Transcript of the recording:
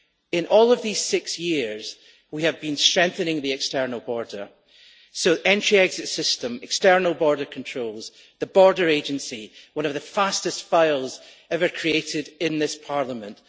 In all of these six years, we have been strengthening the external border Entry Exit System, external border controls, the border agency, one of the fastest files ever created in this Parliament.